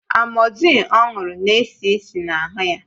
Amozil ọ ṅụrụ na-esi ísì na ahụ ya